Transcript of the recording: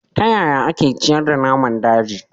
Ta yaya ake ciyar da naman daji